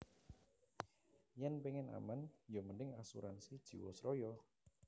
Yen pingin aman yo mending Asuransi Jiwasraya